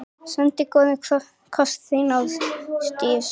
Sendi góðan koss, þín Ástdís.